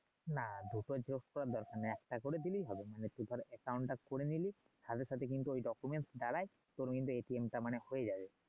আর দুটো যোগ করার দরকার নাই একটা করে দিলেই হবে তুই ধর টা করে নিলি সাথে সাথে কিন্তু ওই দ্বারাই তোর মানে টা মানে হয়ে যাবে